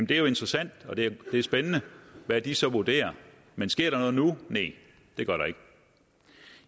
det er jo interessant og det er spændende hvad de så vurderer men sker der noget nu næ det gør der ikke